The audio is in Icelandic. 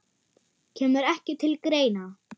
Kemur ekki til greina